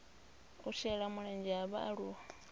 u shela mulenzhe ha vhaaluwa